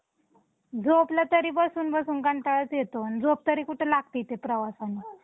झोपलं तरी बसुनबसुन कंटाळाच येतो आणि झोप तरी कुठं लागते ते प्रवासानं